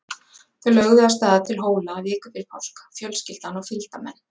Þau lögðu af stað til Hóla viku fyrir páska, fjölskyldan og fylgdarmenn.